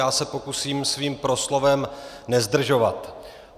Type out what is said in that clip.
Já se pokusím svým proslovem nezdržovat.